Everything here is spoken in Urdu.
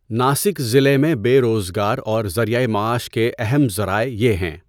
ناسک ضلع میں بے روزگار اور ذریعۂ معاش کے اہم ذرائع یہ ہیں۔